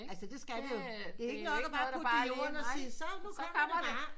Altså det skal vi jo det er ikke nok bare at putte det i jorden og sige så nu kommer det bare